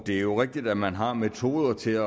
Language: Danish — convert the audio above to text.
det er jo rigtigt at man har metoder til